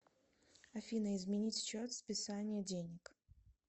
афина изменить счет списания денег